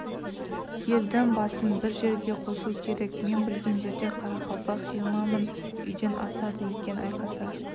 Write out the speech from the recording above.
елдің басын бір жерге қосу керек мен білген жерде қарақалпақ жиырма мың үйден асады екен айқаса